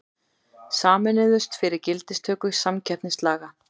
Sameinuðust fyrir gildistöku samkeppnislaga